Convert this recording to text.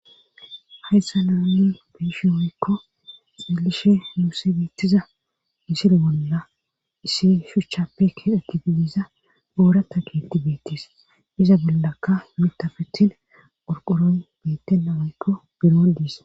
hayssa naanni beishi hoykko xillishe yuuse biittiza misile bolla issi shuchchappekke ekididiiza goora ta giti beettis iza bollakka mitafetin qorqoron bettennamaykko biroo diis